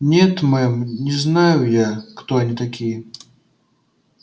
нет мэм не знаю я кто они такие